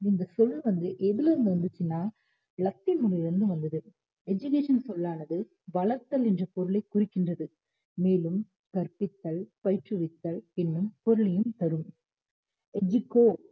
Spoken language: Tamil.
இந்த சொல் வந்து எதுல இருந்து வந்துச்சுன்னா லத்தின் மொழியில் இருந்து வந்தது education சொல்லானது வளர்த்தல் என்ற பொருளைக் குறிக்கின்றது மேலும் கற்பித்தல் பயிற்றுவித்தல் இன்னும் பொருளையும் தரும் educo